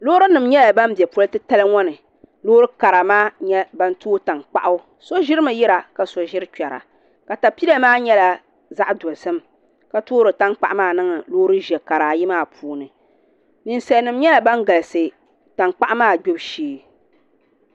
Loori ni nima nyɛla ban bɛ poli ti tali ŋɔ ni loori kara maa nyɛ bani too tankpaɣu so ziri mi yira ka so ziri kpɛra katapila maa yɛla zaɣi dozim ka toori taŋkpaɣu maa niŋdi loori zɛɛ kara ayi maa puuni ninsalinima yɛla bani galisi taŋkpaɣu maa gbibu shee.